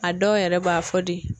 A dɔw yɛrɛ b'a fɔ de